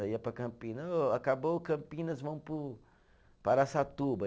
Aí ia para Campinas, ô, acabou Campinas, vamos para o, para Araçatuba.